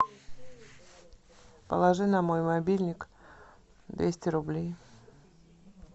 положи на мой мобильник двести рублей